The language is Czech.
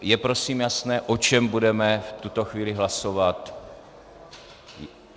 Je prosím jasné, o čem budeme v tuto chvíli hlasovat?